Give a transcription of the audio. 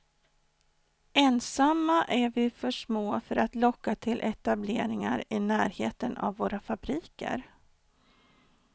Ensamma är vi för små för att locka till etableringar i närheten av våra fabriker.